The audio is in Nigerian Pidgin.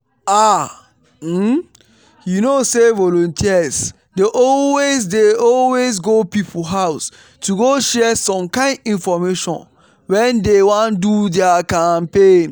ah! um you know say volunteers dey always dey always go people house to go share some kind infomation when dey wan do dia campaigns.